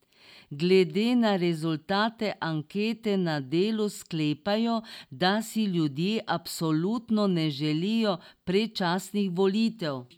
Glede na rezultate ankete na Delu sklepajo, da si ljudje absolutno ne želijo predčasnih volitev.